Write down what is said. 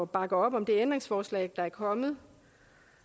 bakke op om det ændringsforslag der er kommet